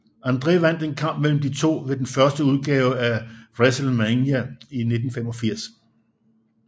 André vandt en kamp mellem de to ved den første udgave af WrestleMania i 1985